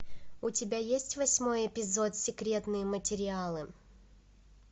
у тебя есть восьмой эпизод секретные материалы